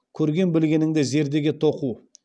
көрген білгеніңді зердеге тоқу